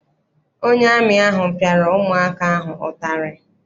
Onye amị ahụ piara ụmụ aka ahụ ụtarị.